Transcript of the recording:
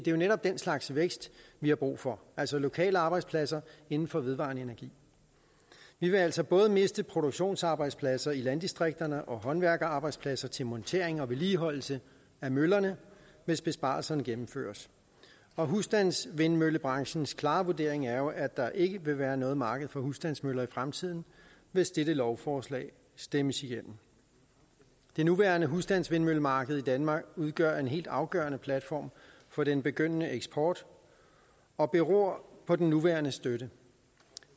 jo netop den slags vækst vi har brug for altså lokale arbejdspladser inden for vedvarende energi vi vil altså både miste produktionsarbejdspladser i landdistrikterne og håndværkerarbejdspladser til montering og vedligeholdelse af møllerne hvis besparelserne gennemføres husstandsvindmøllebranchens klare vurdering er jo at der ikke vil være noget marked for husstandsmøller i fremtiden hvis dette lovforslag stemmes igennem det nuværende husstandsvindmøllemarked i danmark udgør en helt afgørende platform for den begyndende eksport og beror på den nuværende støtte